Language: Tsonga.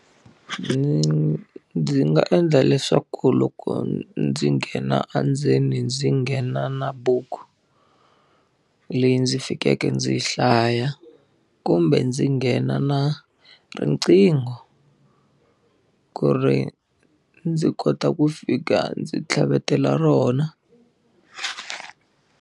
Ndzi nga endla leswaku loko ndzi nghena endzeni ndzi nghena na buku, leyi ndzi fikeke ndzi yi hlaya. Kumbe ndzi nghena na riqingho ku ri ndzi kota ku fika ndzi tlhavetela rona.